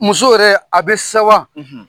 Muso yɛrɛ a bɛ sawa